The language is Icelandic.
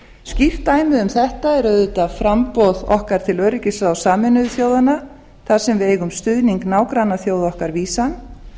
skýrt dæmi um þetta er auðvitað framboð okkar til öryggisráðs sameinuðu þjóðanna þar sem við eigum stuðning nágrannaþjóða okkar vísan